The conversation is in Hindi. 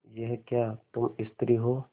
यह क्या तुम स्त्री हो